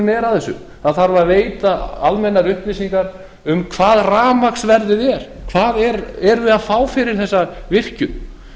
er af þessu það þarf að veita almennar upplýsingar um hvað rafmagnsverðið er hvað erum við að fá fyrir þessa virkjun